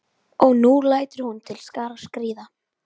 Og nú lætur hún til skarar skríða.